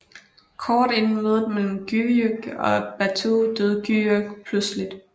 Kort inden mødet mellem Güyük og Batu døde Güyük pludseligt